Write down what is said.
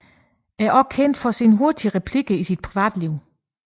Er også kendt for hurtige replikker i sit private liv